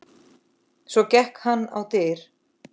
Svo gekk hann á dyr.